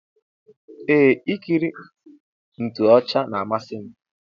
Eeh ikiri ntoochi na amasim.